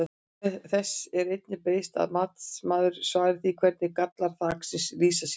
Þess er einnig beiðst að matsmaður svari því hvernig gallar þaksins lýsa sér?